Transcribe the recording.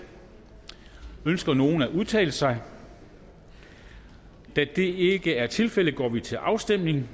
ønsker nogen at udtale sig da det ikke er tilfældet går vi til afstemning